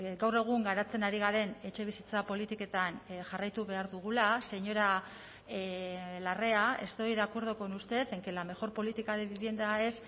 gaur egun garatzen ari garen etxebizitza politiketan jarraitu behar dugula señora larrea estoy de acuerdo con usted en que la mejor política de vivienda es